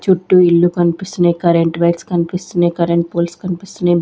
చుట్టూ ఇల్లు కనిపిస్తున్నయ్ కరెంట్ వైర్స్ కనిపిస్తున్నయ్ కరెంట్ పోల్స్ కనిపిస్తున్నయ్.